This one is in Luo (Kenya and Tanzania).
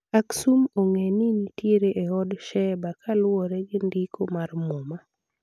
Aksum ong'e ni nitiere e od Sheba kuluwore gi ndiko mar muma